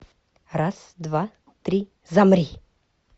раз два три замри